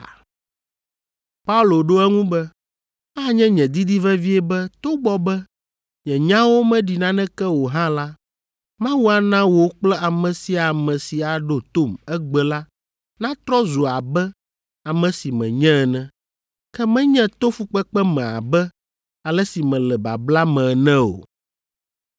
Paulo ɖo eŋu be, “Anye nye didi vevie be togbɔ be nye nyawo meɖi naneke o hã la, Mawu ana wò kple ame sia ame si aɖo tom egbe la natrɔ zu abe ame si menye ene, ke menye to fukpekpe me abe ale si mele babla me ene o.”